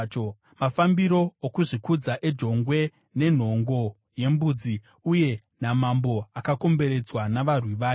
mafambiro okuzvikudza ejongwe, nenhongo yembudzi, uye namambo akakomberedzwa navarwi vake.